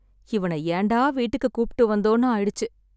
இவன ஏன்டா வீட்டுக்கு கூப்பிட்டு வந்தோம்னு ஆயிடுச்சு